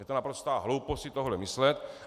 Je to naprostá hloupost si tohle myslet!